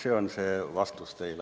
See on vastus teile.